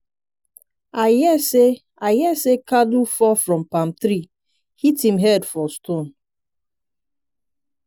i hear say i hear say kalu fall from palm tree hit him head for stone.